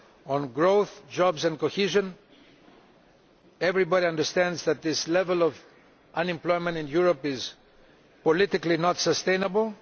On growth, jobs and cohesion, everybody understands that the current level of unemployment in Europe is politically unsustainable.